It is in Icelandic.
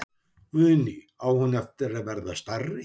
Guðný: Á hún eftir að verða stærri?